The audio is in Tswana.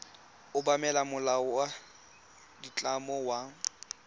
obamela molao wa ditlamo wa